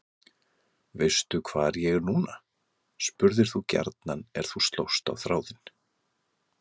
Veistu hvar ég er núna? spurðir þú gjarnan er þú slóst á þráðinn.